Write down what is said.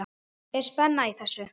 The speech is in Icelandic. Er spenna í þessu?